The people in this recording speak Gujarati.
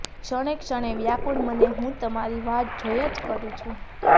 ક્ષણે ક્ષણે વ્યાકુળ મને હું તમારી વાટ જોયા જ કરું છું